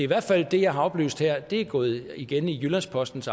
hvert fald er det jeg har oplyst her gået igen i jyllands postens